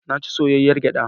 Na ci soyayyar gyaɗa.